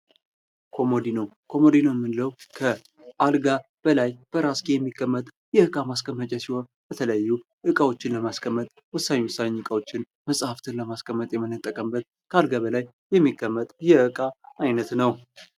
ኮመድኖ ኮመድኖ የምንለው ከአልጋ በላይ በራስጌ የሚቀመጥ የእቃ ማስቀመጫ ሲሆን በተለያዩ እቃዎችን ለማስቀመጥ ወሳኝ ወሳኝ እቃዎችን ለማስቀመጥ መጽሐፍትን ለማስቀመጥ የምንጠቀምበት ከአልጋ በላይ የሚቀመጥ የእቃ አይነት ነው።